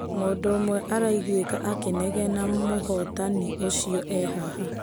Mũndu ũmwe araiguĩka akĩnegena mũhotani ũcio ee haha.